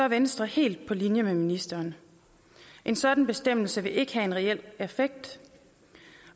venstre helt på linje med ministeren en sådan bestemmelse vil ikke have en reel effekt